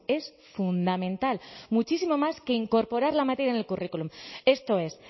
es fundamental muchísimo más que incorporar la materia en el currículum esto es